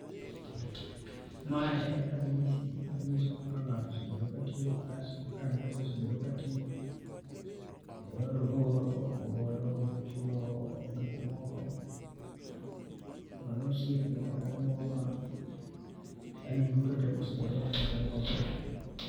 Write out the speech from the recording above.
Ma en rang'isi ma ng'iso kaka ngato osebedo ka tiyo gi pesa .Kaka Mpesa osebedo katiyo e yor oro, golo, chulo gik moko ne osiepe kata anyuola. Yaani duto tee ma osebedo katimore.